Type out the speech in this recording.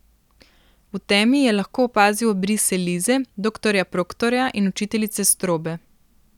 V temi je lahko opazil obrise Lize, doktorja Proktorja in učiteljice Strobe.